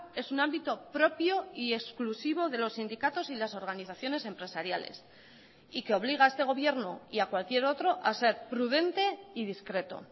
es un ámbito propio y exclusivo de los sindicatos y las organizaciones empresariales y que obliga a este gobierno y a cualquier otro a ser prudente y discreto